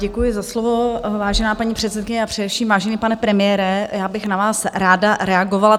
Děkuji za slovo, vážená paní předsedkyně a především vážený pane premiére, já bych na vás ráda reagovala.